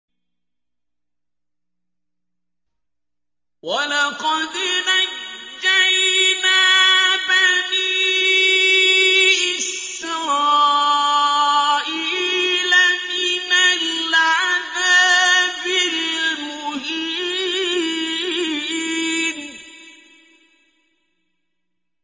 وَلَقَدْ نَجَّيْنَا بَنِي إِسْرَائِيلَ مِنَ الْعَذَابِ الْمُهِينِ